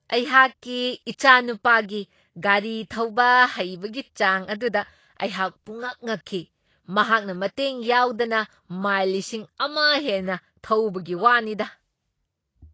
ꯑꯩꯍꯥꯛꯀꯤ ꯏꯆꯥꯅꯨꯄꯥꯒꯤ ꯒꯥꯔꯤ ꯊꯧꯕ ꯍꯩꯕꯒꯤ ꯆꯥꯡ ꯑꯗꯨꯗ ꯑꯩꯍꯥꯛ ꯄꯨꯡꯉꯛ ꯉꯛꯈꯤ꯫ ꯃꯍꯥꯛꯅ ꯃꯇꯦꯡ ꯌꯥꯎꯗꯅ ꯃꯥꯏꯜ ꯂꯤꯁꯤꯡ ꯑꯃ ꯍꯦꯟꯅ ꯊꯧꯕꯒꯤ ꯋꯥꯅꯤꯗꯥ !